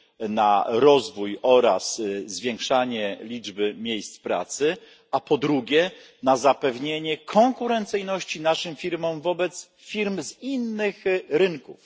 na rozwój oraz zwiększanie liczby miejsc pracy, a po drugie, na zapewnienie konkurencyjności naszych firm wobec firmy z innych rynków.